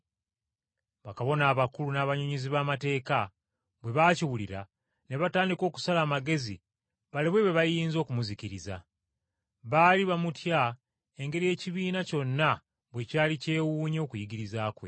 Bakabona abakulu n’abannyonnyozi b’amateeka bwe baakiwulira, ne batandika okusala amagezi balabe bwe bayinza okumuzikiriza. Baali bamutya engeri ekibiina kyonna bwe kyali kyewuunya okuyigiriza kwe.